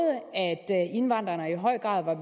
indvandrerne i høj grad var